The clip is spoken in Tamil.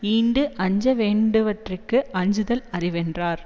ஈண்டு அஞ்ச வேண்டுவனவற்றிற்கு அஞ்சுதல் அறிவென்றார்